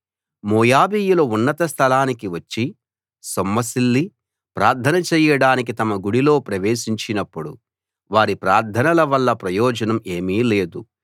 మోయాబీయులు ఉన్నత స్థలానికి వచ్చి సొమ్మసిల్లి ప్రార్థన చెయ్యడానికి తమ గుడిలో ప్రవేశించినప్పుడు వారి ప్రార్థనల వల్ల ప్రయోజనం ఏమీ లేదు